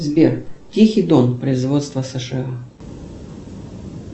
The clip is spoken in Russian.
сбер тихий дон производства сша